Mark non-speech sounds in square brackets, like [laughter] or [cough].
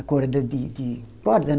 A corda de de [unintelligible]